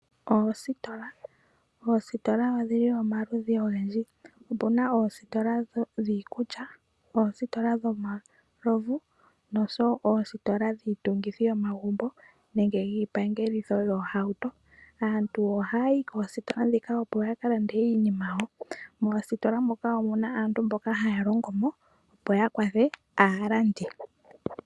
Oositola, oositola odhili omaludhi ogendji. Opuna oositola dhiikulya, oositola dhomalovu nosho wo oositola dhiitungithi yomagumbo nenge yiipangelitho yoohauto. Aantu ohaya yi koositola dhika opo yakalande iinima yawo. Moositola moka omuna aantu mboka haya longo mo opo yakwathe aalandi.